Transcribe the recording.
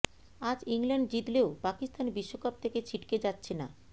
আজ ইংল্যান্ড জিতলেও পাকিস্তান বিশ্বকাপ থেকে ছিটকে যাচ্ছে না